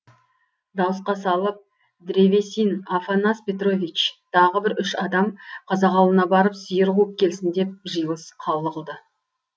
дауысқа салып древесин афанас петрович тағы бір үш адам қазақ ауылына барып сиыр қуып келсін деп жиылыс қаулы қылды